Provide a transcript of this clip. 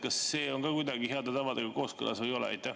Kas see on kuidagi heade tavadega kooskõlas või ei ole?